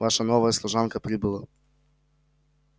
ваша новая служанка прибыла